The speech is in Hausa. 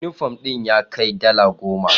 Yunifom din ya kai dala goma.